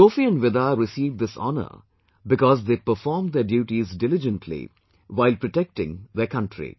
Sophie and Vida received this honour because they performed their duties diligently while protecting their country